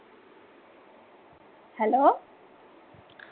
Hello